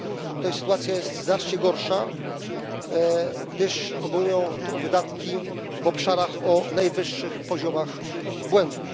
Tutaj sytuacja jest znacznie gorsza, gdyż obejmuje to wydatki w obszarach o najwyższych poziomach błędu.